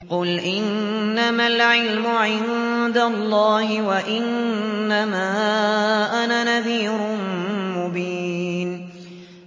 قُلْ إِنَّمَا الْعِلْمُ عِندَ اللَّهِ وَإِنَّمَا أَنَا نَذِيرٌ مُّبِينٌ